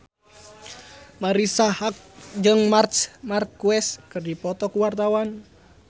Marisa Haque jeung Marc Marquez keur dipoto ku wartawan